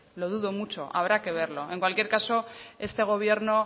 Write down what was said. lo dudo mucho habrá que verlo en cualquier caso este gobierno